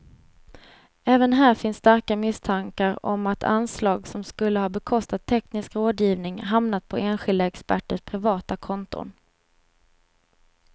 Även här finns starka misstankar om att anslag som skulle ha bekostat teknisk rådgivning hamnat på enskilda experters privata konton.